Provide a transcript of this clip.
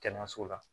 Kɛnɛyaso la